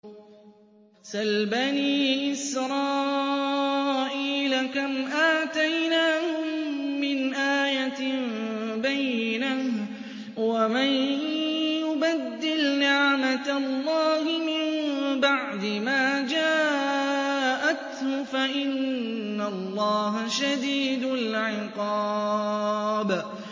سَلْ بَنِي إِسْرَائِيلَ كَمْ آتَيْنَاهُم مِّنْ آيَةٍ بَيِّنَةٍ ۗ وَمَن يُبَدِّلْ نِعْمَةَ اللَّهِ مِن بَعْدِ مَا جَاءَتْهُ فَإِنَّ اللَّهَ شَدِيدُ الْعِقَابِ